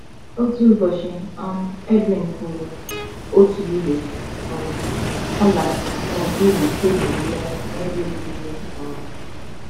Otu ụbọchị um, Edwin hụrụ otu igbe um ọla n’okpuru tebụl ya n’ebe obibi ya um.